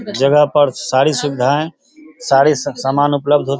जगह पर सारी सुविधाएं सारे सुख सामान उपलब्ध होत --